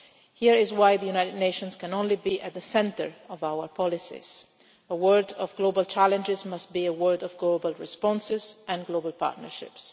Here is why the UN must necessarily be at the centre of our policies a world of global challenges must be a world of global responses and global partnerships.